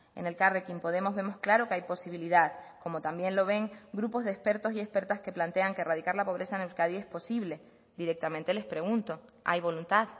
en elkarrekin podemos vemos claro que hay posibilidad como también lo ven grupos de expertos y expertas que plantean que erradicar la pobreza en euskadi es posible directamente les pregunto hay voluntad